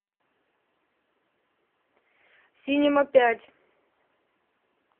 синема пять